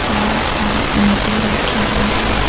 बहुत सारे ईंटे रखे हुए हैं।